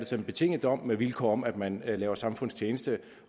så en betinget dom med vilkår om at man laver samfundstjeneste